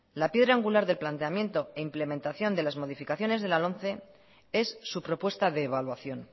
la piedra angular del planteamiento e implementación de las modificaciones de la lomce es su propuesta de evaluación